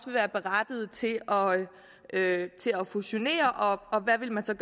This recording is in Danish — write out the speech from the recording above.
være berettiget til at fusionere og hvad man så